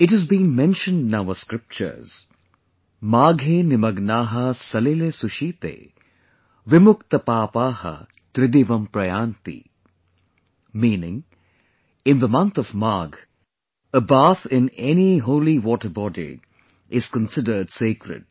It has been mentioned in our scriptures MAGHE NIMAGNAAHA SALILE SUSHITE, VIMUKTAPAAPAAHA TRIDIVAM PRAYAANTI meaning, in the month of Magh, a bath in any holy water body is considered sacred